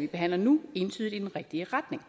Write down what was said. vi behandler nu entydigt i den rigtige retning